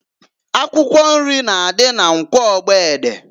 Akwụkwọ nri na adị na Nkwọ Ogbede.